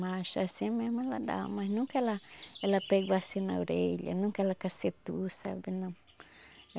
Mas assim mesmo ela dava, mas nunca ela ela pegou assim na orelha, nunca ela cacetou, sabe, não.